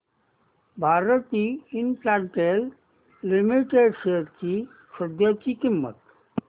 Bharti Infratel Limited shares ची सध्याची किंमत